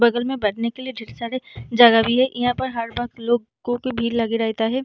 बगल में बैठने के लिए ढेर सारे जगह भी है यहाँ पर हर वक़्त लोगो की भीड़ लगी रहता है ।